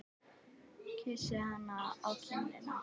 Kyssi hana á kinnina.